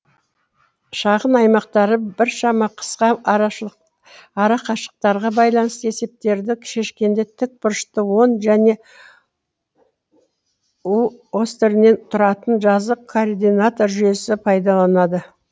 шағын аймақтары біршама қысқа арақашықтықтарға байланысты есептерді шешкенде тік бұрышты он және у осьтерінен тұратын жазық координата жүйесі пайдаланады